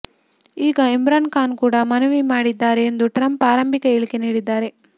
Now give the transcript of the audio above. ಈಗ ಇಮ್ರಾನ್ ಖಾನ್ ಕೂಡ ಮನವಿ ಮಾಡಿದ್ದಾರೆ ಎಂದು ಟ್ರಂಪ್ ಆರಂಭಿಕ ಹೇಳಿಕೆ ನೀಡಿದ್ದಾರೆ